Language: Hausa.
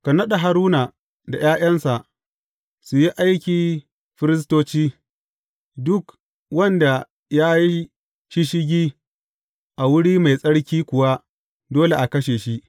Ka naɗa Haruna da ’ya’yansa su yi aiki firistoci; duk wanda ya yi shisshigi a wuri mai tsarki kuwa dole a kashe shi.